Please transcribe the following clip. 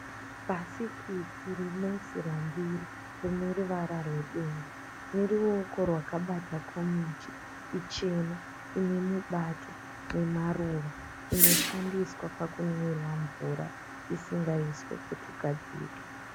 Bhasikiti rinoisirwa ndiro rine ruvara rwedenga. Neruoko rwakabata komichi ichena inemubato nemaruva. Inoshandiswa pakunwirwa mvura isingaiswi putu gadzike.